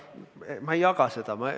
Ma ei jaga seda.